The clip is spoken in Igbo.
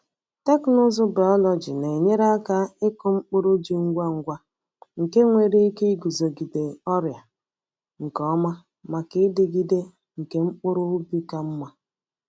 Teknụzụ biọlọjị na-enyere aka ịkụ mkpụrụ ji ngwa ngwa nke nwere ike iguzogide ọrịa nke ọma maka ịdịgide nke mkpụrụ ubi ka mma.